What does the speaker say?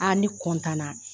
An ne